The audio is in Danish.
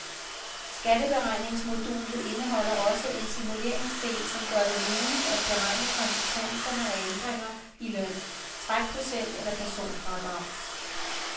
Skatteberegningsmodulet indeholder også en simuleringsdel, som gør det muligt at beregne konsekvenserne af ændringer i løn, trækprocent eller personfradrag.